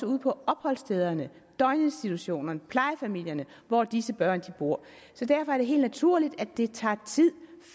ude på opholdsstederne døgninstitutionerne og plejefamilierne hvor disse børn bor derfor er det helt naturligt at det tager tid